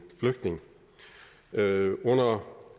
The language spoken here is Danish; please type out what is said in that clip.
flygtning under